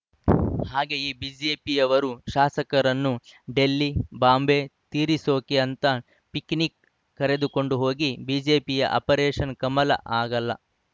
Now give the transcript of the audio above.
ಹಾಗೆ ಈಗ ಬಿಜೆಪಿಯವರು ಶಾಸಕರನ್ನು ಡೆಲ್ಲಿ ಬಾಂಬೆ ತೀರಿಸೋಕೆ ಅಂತ ಪಿಕ್‌ನಿಕ್‌ ಕರೆದುಕೊಂಡು ಹೋಗಿ ಬಿಜೆಪಿ ಆಪರೇಷನ್‌ ಕಮಲ ಆಗಲ್ಲ